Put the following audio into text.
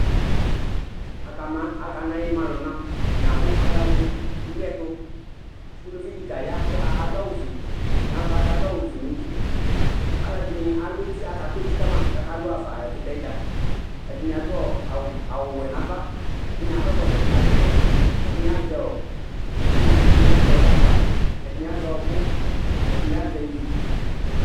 Aka ma, aka na imaluna atani abu ayaha mu ĩliɛtù, uluvi di ta ya k'ɔka, adu awù fue n'ava k'adu awù fue n'uti, aluɛdini alu eti aka ku eti kama k'aka lu hafa ɛkutɛdza, ɛdini adu awù wɛ n'ava ɛdini akɔ ɛkɔtɔ, ɛdini nakɔ ɛkɔtɔ, ɛdini azɛ itsu, ɛdini azɛ gagba, ɛdini azɛ ɔ̃ku, ɛdini azɛ ivi